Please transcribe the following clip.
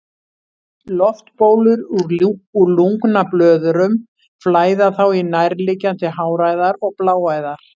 Loftbólur úr lungnablöðrum flæða þá í nærliggjandi háræðar og bláæðar.